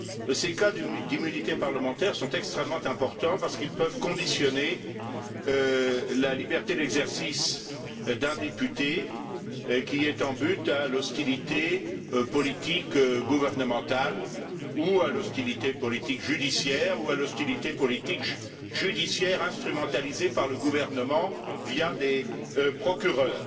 Ces cas d'immunité parlementaire sont extrêmement importants parce qu'ils peuvent conditionner la liberté d'exercice d'un député qui est en butte à l'hostilité politique gouvernementale ou à l'hostilité politique judiciaire, ou à l'hostilité politique judiciaire instrumentalisée par le gouvernement, via des procureurs.